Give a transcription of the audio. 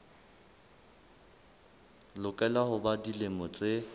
lokela ho ba dilemo tse